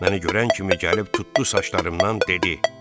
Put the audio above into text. Məni görən kimi gəlib tutdu saçlarımdan dedi: